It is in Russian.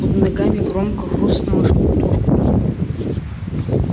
под ногами громко хрустнула штукатурка